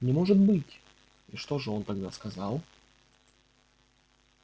не может быть и что же он тогда сказал